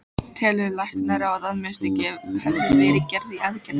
Telur læknaráð, að mistök hafi verið gerð í aðgerðinni?